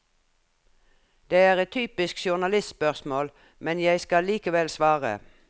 Det er et typisk journalistspørsmål, men jeg skal likevel svare.